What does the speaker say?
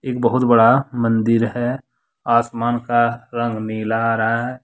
एक बहुत बड़ा मंदिर है आसमान का रंग नीला आ रहा है।